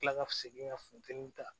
Kila ka segin ka funtɛni ta